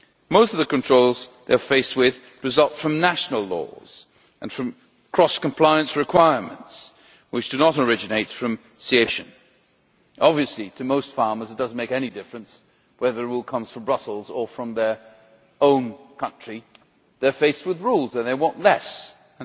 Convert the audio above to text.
Most of the controls they are faced with result from national laws and from cross compliance requirements, which do not originate from CAP legislation. Obviously, to most farmers it does not make any difference whether a rule comes from Brussels or from their own country they are faced with rules and they want fewer of them.